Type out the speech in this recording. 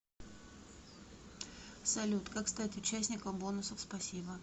салют как стать участником бонусов спасибо